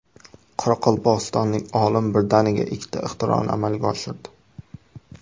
Qoraqalpog‘istonlik olim birdaniga ikkita ixtironi amalga oshirdi.